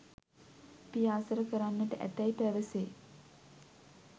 පියාසර කරන්නට ඇතැයි පැවසේ.